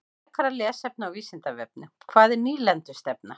Frekara lesefni á Vísindavefnum: Hvað er nýlendustefna?